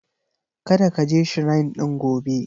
Kada ka je Shrine ɗin gobe.